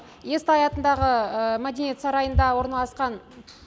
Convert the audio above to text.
естай атындағы мәдениет сарайында орналасқан